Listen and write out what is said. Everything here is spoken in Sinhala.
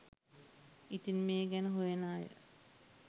ඉතින් මේ ගැන හොයන අය